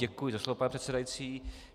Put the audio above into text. Děkuji za slovo, pane předsedající.